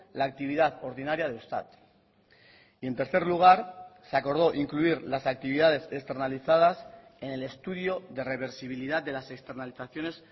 la actividad ordinaria de eustat y en tercer lugar se acordó incluir las actividades externalizadas en el estudio de reversibilidad de las externalizaciones